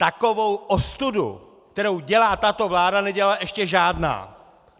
Takovou ostudu, kterou dělá tato vláda, nedělala ještě žádná!